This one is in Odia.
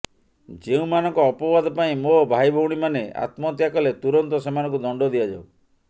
ଯେଉଁମାନଙ୍କ ଅପବାଦ ପାଇଁ ମୋ ଭାଇଭଉଣୀମାନେ ଆତ୍ମହତ୍ୟା କଲେ ତୁରନ୍ତ ସେମାନଙ୍କୁ ଦଣ୍ଡ ଦିଆଯାଉ